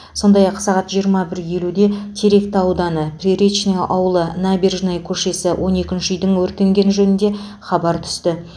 сондай ақ сағат жиырма бір елуде теректі ауданы приречный ауылы набережная көшесі он екінші үйдің өртенгені жөнінде хабар түсті